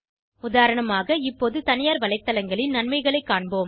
உதாரணமாக இப்போது தனியார் வலைத்தளங்களின் நன்மைகளை காண்போம்